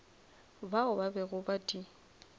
bao ba bego ba di